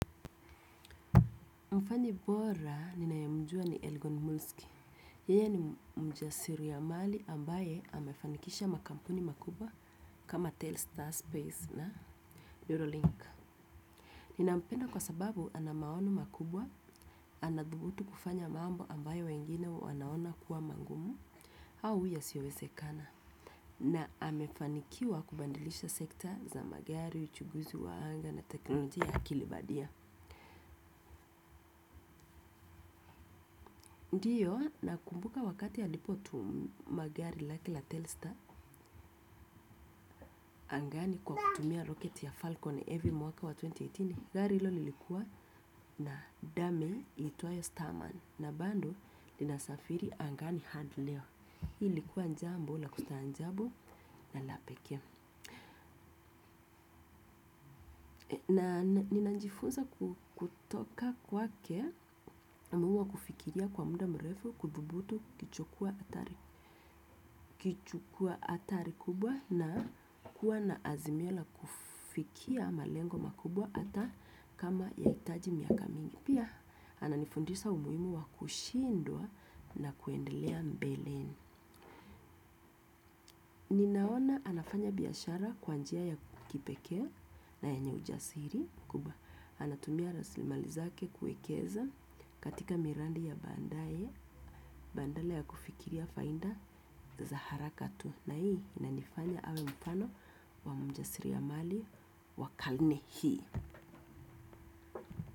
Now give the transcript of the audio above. Mfanyi bora ninaemjua ni Elgon Muski. Yeye ni mjasiriamali ambaye amefanikisha makampuni makubwa kama Telstar Space na Eurolink. Ninampenda kwa sababu ana maono makubwa, anadhubutu kufanya mambo ambayo wengine wanaona kuwa magumu, au yasiowezekana. Na amefanikiwa kubadilisha sekta za magari, uchuguzi wa anga na teknolojia ya akili bandia. Ndiyo nakumbuka wakati alipotuma gari lake la Telster angani kwa kutumia roket ya Falcon heavy mwaka wa elfu mbili na kumi na nane. Gari hilo lilikuwa na dummy iitwayo Starman na bado linasafiri angani hadi leo. Hii ilikuwa jambo la kustaajabu na la pekee. Na ninajifunza kutoka kwakea umuhimu wa kufikiria kwa muda mrefu kudhubutu kuchukua hatari kubwa na kuwa na azimio la kufikia malengo makubwa hata kama ya hitaji miaka mingi. Pia ananifundisa umuhimu wa kushindwa na kuendelea mbeleni. Ninaona anafanya biashara kwa njia ya kipekee na yenye ujasiri kubwa. Anatumia raslimali zake kuekeza katika miradi ya baadaye, badala ya kufikiria faida za haraka tu. Na hii inanifanya awe mfano wa mjasiriamali wa karne hii.